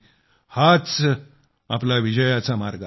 हाच आपला विजयाचा मार्ग आहे